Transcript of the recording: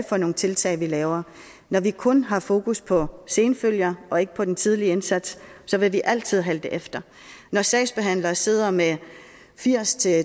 for nogle tiltag vi laver når vi kun har fokus på senfølger og ikke på den tidlige indsats vil vi altid halte efter når sagsbehandlere sidder med firs til